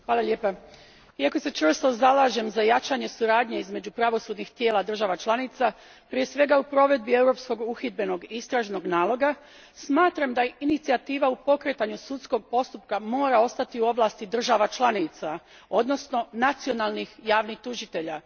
Gospođo predsjedavajuća, iako se čvrsto zalažem za jačanje suradnje između pravosudnih tijela država članica, prije svega u provedbi europskog uhidbenog i istražnog naloga, smatram da inicijativa u pokretanju sudskog postupka mora ostati u ovlasti država članica, odnosno nacionalnih javnih tužitelja.